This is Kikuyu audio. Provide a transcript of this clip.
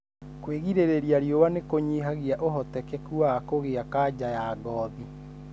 Kwigirĩrĩria riũa nĩkunyihagia ũhotekeku wa kũgĩa kanja ya ngothi